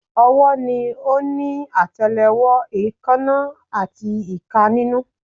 Ọwọ́ ni ó ní àtẹlẹwọ́, èèkánná, àti ìka nínú